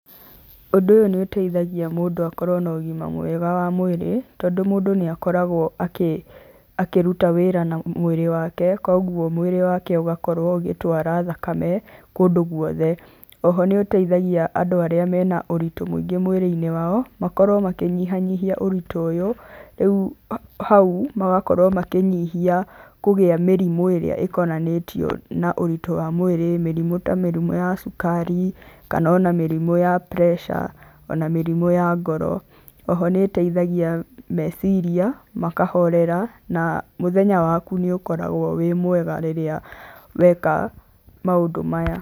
Ũndũ ũyũ nĩ ũteithagia mũndũ akorwo na ũgima mwega wa mwĩrĩ, tondũ mũndũ nĩ akoragwo akĩruta wĩra na mwĩrĩ wake, koguo mwĩrĩ wake ũgakorwo ũgĩtwara thakame kũndũ gwothe, oho nĩ ũteithagia andũ arĩa mena ũritũ mũingĩ mwĩrĩ-inĩ wao makorwo makĩnyihanyihia ũritũ ũyũ, rĩu hau magakorwo makĩnyihia kũgĩa mĩrimũ ĩrĩa ikonanĩtwo na ũritũ wa mwĩrĩ, mĩrimũ ta mĩrimũ ya cukari kana ona mĩrimũ ya pressure o na mĩrimũ ya ngoro, oho nĩĩteithagia meciria makahorera na mũthenya waku nĩ ũkoragwo wĩ mwega rĩrĩa weka maũndũ maya.